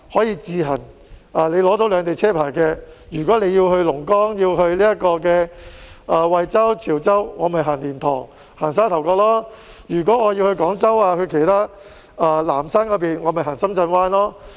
如果有兩地車牌的車輛要去龍崗、惠州、潮州等地，就可以使用蓮塘、沙頭角；如果要去廣州、南沙等地，就可以使用深圳灣。